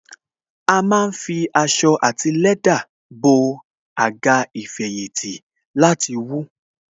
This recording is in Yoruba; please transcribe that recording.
A má ń fi aṣọ àti lẹ́dà bo Àga ìfẹ̀yìntì láti wú